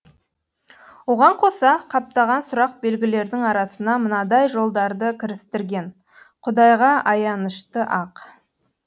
оған қоса қаптаған сұрақ белгілердің арасына мынадай жолдарды кірістірген құдайға аянышты ақ